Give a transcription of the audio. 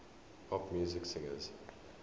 pop music singers